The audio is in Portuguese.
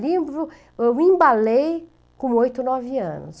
Livro eu me embalei com oito, nove anos.